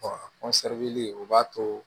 o b'a to